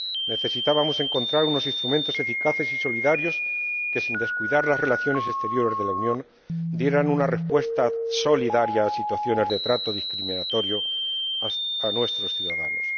Necesitábamos encontrar unos instrumentos eficaces y solidarios que, sin descuidar las relaciones exteriores de la Unión, dieran una respuesta solidaria a las situaciones de trato discriminatorio a nuestros ciudadanos.